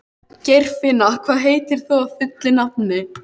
Geirfinna, hvað heitir þú fullu nafni?